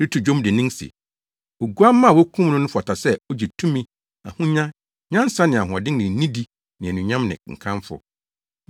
reto dwom dennen se, “Oguamma a wokum no no fata sɛ ogye tumi, ahonya, nyansa ne ahoɔden ne nidi ne anuonyam ne nkamfo!”